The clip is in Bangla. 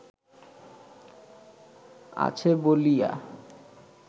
আছে বলিয়া